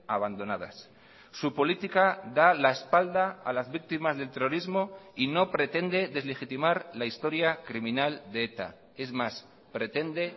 abandonadas su política da la espalda a las víctimas del terrorismo y no pretende deslegitimar la historia criminal de eta es más pretende